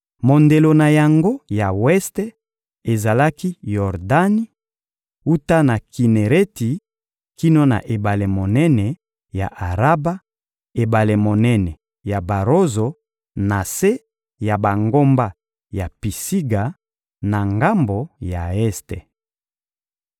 Mondelo na yango ya weste ezalaki Yordani: wuta na Kinereti kino na ebale monene ya Araba, ebale monene ya Barozo, na se ya bangomba ya Pisiga na ngambo ya este.